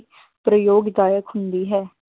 ਪ੍ਰਯੋਗਦਾਇਕ ਹੁੰਦੀ ਹੈ।